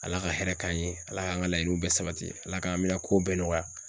ALA ka hɛrɛ k'an ye ala k'an ka laɲiniw bɛɛ sabati ala k'an bɛna kow bɛɛ nɔgɔya.